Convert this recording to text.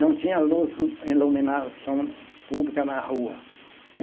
Não tinha luz, iluminação pública na rua.